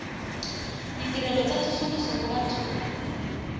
ditirelo tsa tsosoloso mo bathong